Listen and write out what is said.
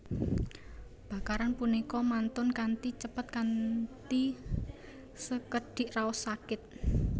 Bakaran punika mantun kanthi cepet kanthi sekedhik raos sakit